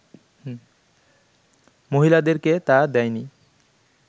মহিলাদেরকে তা দেয়নি